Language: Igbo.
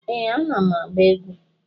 Ee, ana m agba egwu.